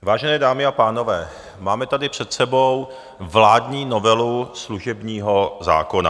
Vážené dámy a pánové, máme tady před sebou vládní novelu služebního zákona.